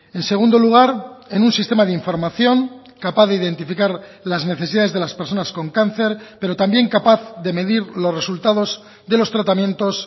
en segundo lugar en un sistema de información capaz de identificar las necesidades de las personas con cáncer pero también capaz de medir los resultados de los tratamientos